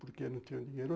Por que não tenho dinheiro?